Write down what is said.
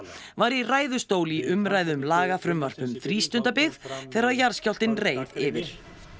var í ræðustól í umræðu um lagafrumvarp um frístundabyggð þegar jarðskjálftinn reið yfir